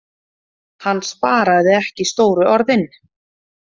Hann sparaði ekki stóru orðin.